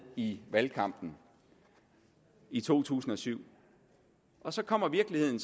i valgkampen i to tusind og syv og så kommer virkeligheden